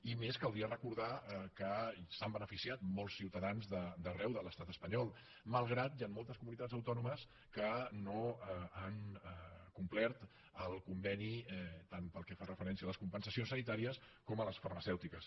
i a més caldria recordar que se n’han beneficiat molts ciutadans d’arreu de l’estat espanyol malgrat que hi han moltes comunitats autònomes que no han complert el conveni tant pel que fa referència a les compensacions sanitàries com a les farmacèutiques